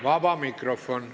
Vaba mikrofon.